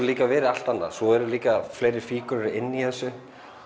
líka verið allt annað svo eru líka fleiri fígúrur inni í þessu